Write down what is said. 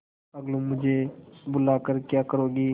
अलगूमुझे बुला कर क्या करोगी